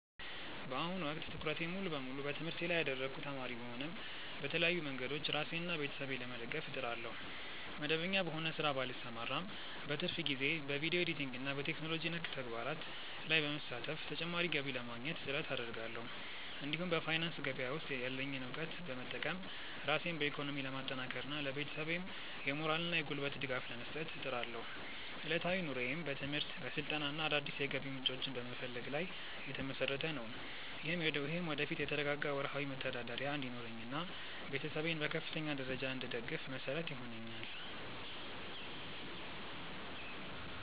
በአሁኑ ወቅት ትኩረቴን ሙሉ በሙሉ በትምህርቴ ላይ ያደረግኩ ተማሪ ብሆንም፣ በተለያዩ መንገዶች ራሴንና ቤተሰቤን ለመደገፍ እጥራለሁ። መደበኛ በሆነ ሥራ ባልሰማራም፣ በትርፍ ጊዜዬ በቪዲዮ ኤዲቲንግና በቴክኖሎጂ ነክ ተግባራት ላይ በመሳተፍ ተጨማሪ ገቢ ለማግኘት ጥረት አደርጋለሁ። እንዲሁም በፋይናንስ ገበያ ውስጥ ያለኝን እውቀት በመጠቀም ራሴን በኢኮኖሚ ለማጠናከርና ለቤተሰቤም የሞራልና የጉልበት ድጋፍ ለመስጠት እጥራለሁ። ዕለታዊ ኑሮዬም በትምህርት፣ በስልጠናና አዳዲስ የገቢ ምንጮችን በመፈለግ ላይ የተመሰረተ ነው። ይህም ወደፊት የተረጋጋ ወርሃዊ መተዳደሪያ እንዲኖረኝና ቤተሰቤን በከፍተኛ ደረጃ እንድደግፍ መሰረት ይሆነኛል።